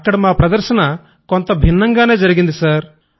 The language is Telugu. అక్కడ మా ప్రదర్శన కొంత భిన్నంగానే జరిగింది సర్